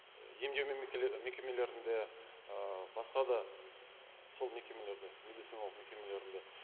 емдеу мекемелерінде ы басқа да сол мекемелерде медициналық мекемелерінде